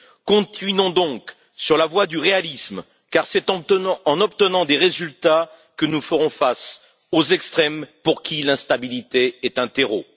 Continuons donc sur la voie du réalisme, car c'est en obtenant des résultats que nous ferons face aux extrêmes, pour qui l'instabilité est un terreau.